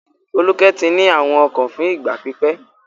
Folúkẹ́ ti ní àrùn ọkàn fún ìgbà pípẹ́.